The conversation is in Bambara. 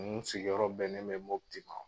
Mun sigiyɔrɔ bɛnnen be mɔti ma